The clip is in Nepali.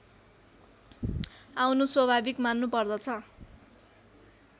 आउनु स्वभाविक मान्नुपर्दछ